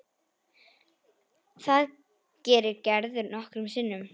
Það gerir Gerður nokkrum sinnum.